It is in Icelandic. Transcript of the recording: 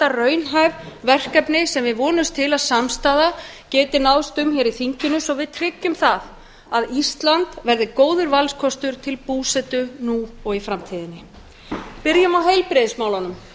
raunhæf verkefni sem við vonumst til að samstaða geti náðst um í þinginu svo við tryggjum að ísland verði góður valkostur til búsetu nú og í framtíðinni byrjum á heilbrigðismálunum